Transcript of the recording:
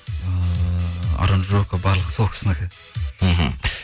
ыыы аранжировка барлығы сол кісінікі мхм